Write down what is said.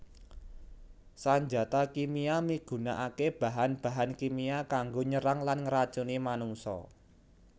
Sanjata kimia migunakaké bahan bahan kimia kanggo nyerang lan ngracuni manungsa